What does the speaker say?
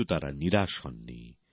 কিন্তু তারা নিরাশ হননি